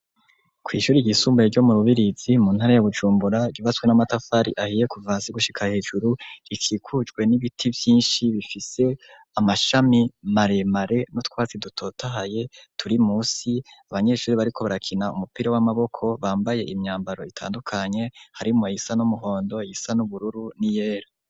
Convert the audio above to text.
Kw'ishure ryisumbuye ryo mu Rubirizi mu ntara ya Bujumbura, ryubatswe n'amatafari ahiye kuva hasi gushika hejuru, rikikujwe n'ibiti vyinshi bifise amashami maremare n'utwatsi dutotahaye turi munsi, abanyeshure bariko barakina umupira w'amaboko bambaye imyambaro itandukanye, harimwo iyisa n'umuhondo, iyisa n'ubururu n'iyera.